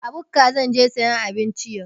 A bukka zan je sayan abinci yau.